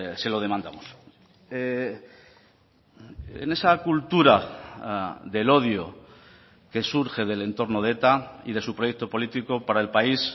se lo demandamos en esa cultura del odio que surge del entorno de eta y de su proyecto político para el país